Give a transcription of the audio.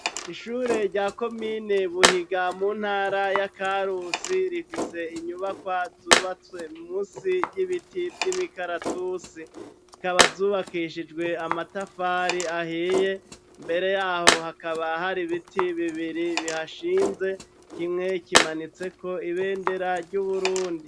Ishure rya komine Buhinga mu ntara ya Karusi rifise inyubakwa zubatswe munsi y'ibiti vy'imikaratusi, zikaba zubakishijwe amatafari ahiye, imbere yaho hakaba hari ibiti bibiri bihashinze, kimwe kimanitseko ibendera ry'Uburundi.